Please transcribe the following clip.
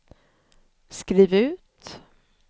skriv ut